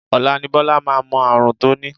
Ọ̀la ni Bọ́lá máa mọ ààrùn tó ní